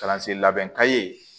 Kalansen labɛn ka ye